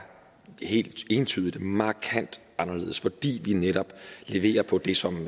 helt entydigt markant anderledes fordi vi netop leverer på det som